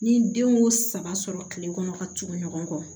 Ni den y'o saba sɔrɔ kile kɔnɔ ka tugu ɲɔgɔn kɔ